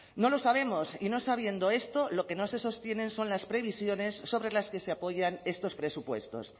no lo sabemos y no sabiendo esto lo que no se sostienen son las previsiones sobre las que se apoyan estos presupuestos